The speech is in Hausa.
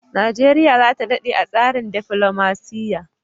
Nigeria zata dade a tsarin defilomaciya